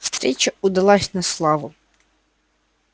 встреча удалась на славу